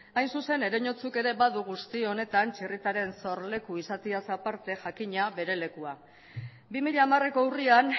hain zuzen ereñotzuk ere badu guzti honetan txirritaren sorleku izateaz aparte jakina bere lekua bi mila hamareko urrian